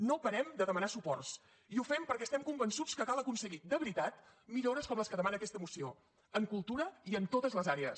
no parem de demanar suports i ho fem perquè estem convençuts que cal aconseguir de veritat millores com les que demana aquesta moció en cultura i en totes les àrees